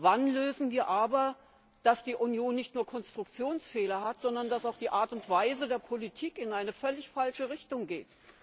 Wann lösen wir aber, dass die Union nicht nur Konstruktionsfehler hat, sondern dass auch die Art und Weise der Politik in eine völlig falsche Richtung geht?